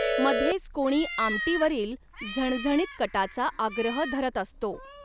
मध्येच कोणी आमटीवरील झणझणीत कटाचा आग्रह धरत असतो.